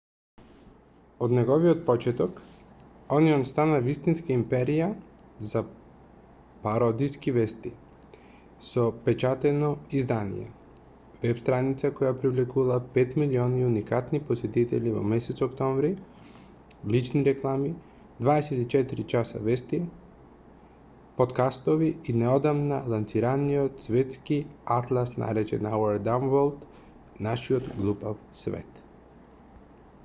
од неговиот почеток онион стана вистинска империја за пародиски вести со печатено издание веб-страница која привлекувала 5.000.000 уникатни посетители во месец октомври лични реклами 24 часа вести поткастови и неодамна лансираниот светски атлас наречен our dumb world нашиот глупав свет